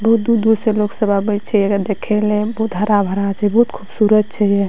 बहुत दूर-दूर से लोग सब आवे छै एकरा देखे ले बहुत हरा-भरा छै बहुत खूबसूरत छै ये।